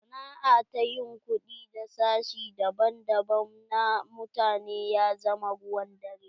Sana'a ta yin kuɗi da sashi daban daban na mutane ya zama ruwan dare.